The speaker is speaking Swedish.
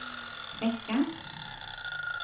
räcka